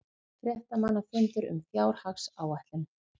Fréttamannafundur um fjárhagsáætlun